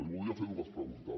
li volia fer dues preguntes